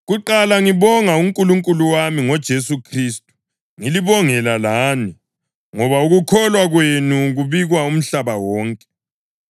Kuqala ngibonga uNkulunkulu wami ngoJesu Khristu ngilibongela lani, ngoba ukukholwa kwenu kubikwa umhlaba wonke.